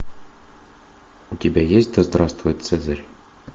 у тебя есть да здравствует цезарь